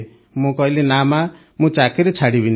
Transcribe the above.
ମୁଁ କହିଲି ନା ମାଆ ମୁଁ ଚାକିରି ଛାଡ଼ିବିନି